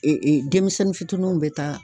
denmisɛnnin fitininw be taa